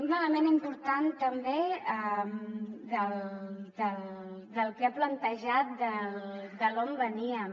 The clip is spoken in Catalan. un element important també del que ha plantejat d’on veníem